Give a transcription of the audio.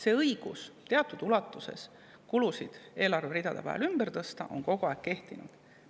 See õigus teatud ulatuses kulusid eelarveridade vahel ümber tõsta on kogu aeg kehtinud.